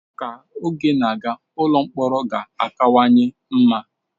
Ka oge na-aga, ụlọ mkpọrọ ga-akawanye mma.